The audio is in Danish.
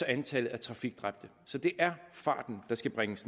antallet af trafikdræbte så det er farten der skal bringes